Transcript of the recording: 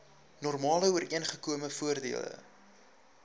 normale ooreengekome voordele